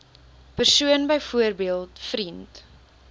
persoon byvoorbeeld vriend